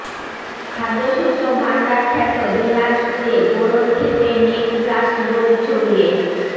খাদ্যশস্য ভাণ্ডার খ্যাত দিনাজপুরে বোরোর ক্ষেতে নেক ব্লাস্ট রোগ ছড়িয়ে